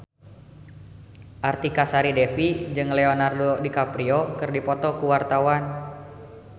Artika Sari Devi jeung Leonardo DiCaprio keur dipoto ku wartawan